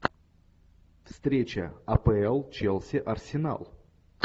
встреча апл челси арсенал